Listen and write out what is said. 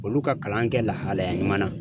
Olu ka kalan kɛ lahalaya ɲuman na.